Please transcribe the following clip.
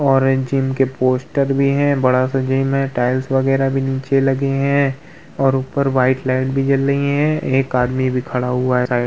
और जिम के पोस्टर भी है बड़ा सा जिम है टाइल्स बगैरह भी नीचे लगे है और ऊपर वाइट लाइट भी जल रही है एक आदमी भी खड़ा हुआ है साइड --